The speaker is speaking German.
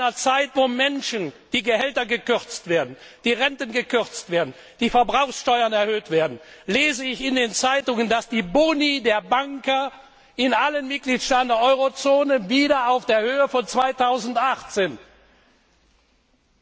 In einer Zeit, in der die Gehälter der Menschen gekürzt werden, die Renten gekürzt werden, die Verbrauchssteuern erhöht werden, lese ich in den Zeitungen, dass die Boni der Banker in allen Mitgliedstaaten der Eurozone wieder auf der Höhe von 2008 sind.